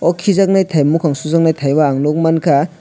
o kijaknai tai mokang sojaknai tai o ang nogmangka.